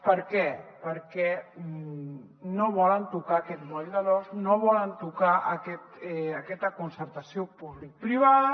per què perquè no volen tocar aquest moll de l’os no volen tocar aquesta concertació publicoprivada